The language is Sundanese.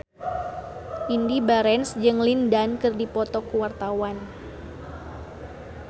Indy Barens jeung Lin Dan keur dipoto ku wartawan